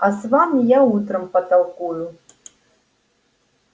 а с вами я утром потолкую